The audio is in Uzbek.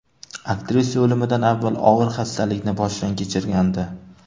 Aktrisa o‘limidan avval og‘ir xastalikni boshdan kechirgandi.